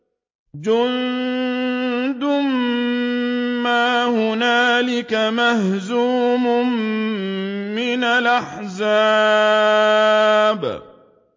جُندٌ مَّا هُنَالِكَ مَهْزُومٌ مِّنَ الْأَحْزَابِ